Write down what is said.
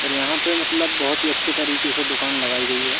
और यहां पे मतलब बहोत ही अच्छे तरीके से दुकान लगाई गई है।